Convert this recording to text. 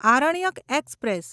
Aranyak express